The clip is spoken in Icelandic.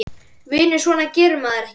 Vinur, svona gerir maður ekki!